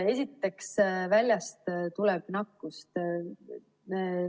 Esiteks, väljast tuleb nakkust.